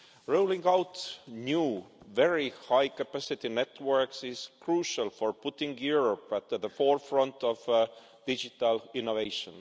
Rolling out new, very high capacity networks is crucial for putting Europe at the forefront of digital innovation.